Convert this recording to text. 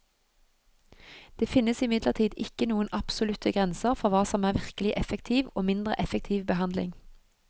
Det finnes imidlertid ikke noen absolutte grenser for hva som er virkelig effektiv og mindre effektiv behandling.